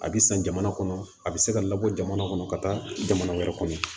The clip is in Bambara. A bɛ san jamana kɔnɔ a bɛ se ka labɔ jamana kɔnɔ ka taa jamana wɛrɛ kɔnɔ